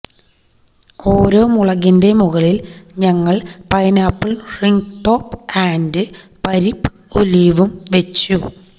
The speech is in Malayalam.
ഓരോ മുളകിന്റെ മുകളിൽ ഞങ്ങൾ പൈനാപ്പിൾ റിംഗ്ടോപ്പ് ആൻഡ് പരിപ്പ് ഒലീവും വെച്ചു